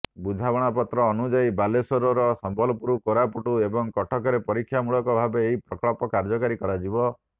ବୁଝାମଣାପତ୍ର ଅନୁଯାୟି ବାଲେଶ୍ୱର ସମ୍ବଲପୁର କୋରାପୁଟ ଏବଂ କଟକରେ ପରୀକ୍ଷାମୂଳକ ଭାବେ ଏହି ପ୍ରକଳ୍ପ କାର୍ଯ୍ୟକାରୀ କରାଯିବ